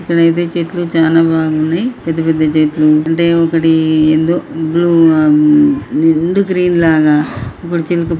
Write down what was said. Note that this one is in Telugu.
ఇక్కడ అయితే చెట్లు చాలా బాగున్నాయి. పెద్ద పెద్ద చెట్లు అంటే ఒకటి ఏందో బ్లూ మ్మ్ నిండు గ్రీన్ లాగా ఇప్పుడు --